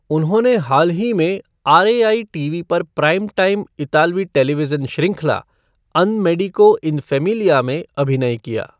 उन्होंने हाल ही में आरएआई टीवी पर प्राइम टाइम इतालवी टेलीविजन श्रृंखला, अन मेडिको इन फ़ेमिलिया में अभिनय किया।